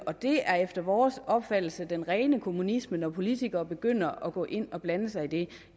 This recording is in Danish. og det er efter vores opfattelse den rene kommunisme når politikere begynder at gå ind og blande sig i det